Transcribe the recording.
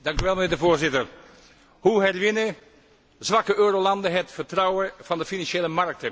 Voorzitter, hoe winnen zwakke eurolanden het vertrouwen van de financiële markten?